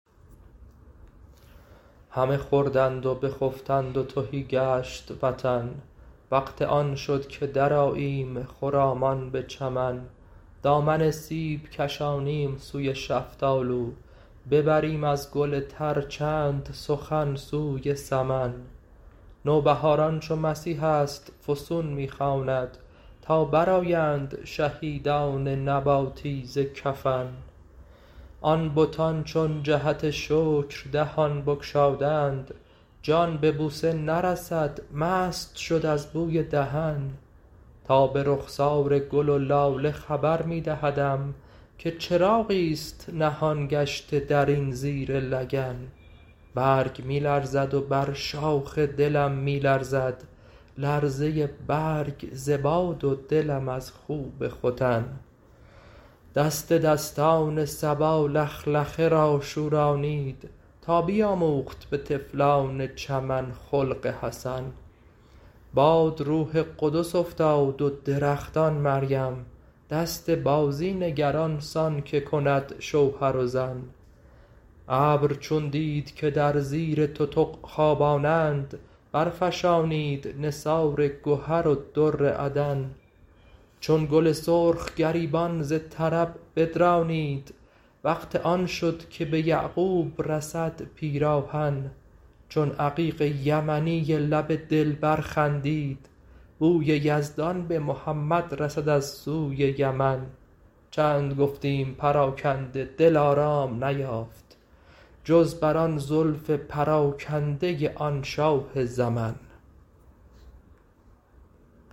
همه خوردند و بخفتند و تهی گشت وطن وقت آن شد که درآییم خرامان به چمن دامن سیب کشانیم سوی شفتالو ببریم از گل تر چند سخن سوی سمن نوبهاران چون مسیحی است فسون می خواند تا برآیند شهیدان نباتی ز کفن آن بتان چون جهت شکر دهان بگشادند جان به بوسه نرسد مست شد از بوی دهن تاب رخسار گل و لاله خبر می دهدم که چراغی است نهان گشته در این زیر لگن برگ می لرزد و بر شاخ دلم می لرزد لرزه برگ ز باد و دلم از خوب ختن دست دستان صبا لخلخه را شورانید تا بیاموخت به طفلان چمن خلق حسن باد روح قدس افتاد و درختان مریم دست بازی نگر آن سان که کند شوهر و زن ابر چون دید که در زیر تتق خوبانند برفشانید نثار گهر و در عدن چون گل سرخ گریبان ز طرب بدرانید وقت آن شد که به یعقوب رسد پیراهن چون عقیق یمنی لب دلبر خندید بوی یزدان به محمد رسد از سوی یمن چند گفتیم پراکنده دل آرام نیافت جز بر آن زلف پراکنده آن شاه زمن